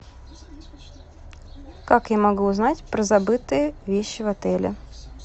как я могу узнать про забытые вещи в отеле